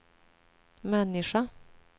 människa